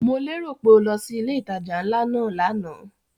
Mo lérò pé o lọ sí ilé ìtajà ńlá náà lánàá?